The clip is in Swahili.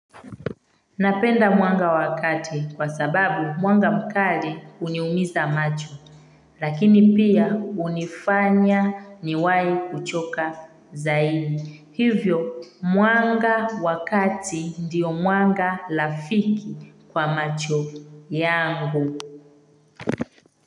Napenda mwanga wa kati kwa sababu mwanga mkali uniumiza macho, lakini pia unifanya niwai kuchoka zaidi. Hivyo, mwanga wa kati ndiyo mwanga lafiki kwa macho yangu.